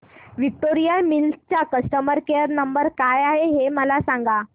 Victoria Mills चा customer care number काय आहे हे मला सांगा